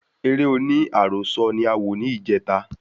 Eré oní àròsọ ni a wò ni ìjeta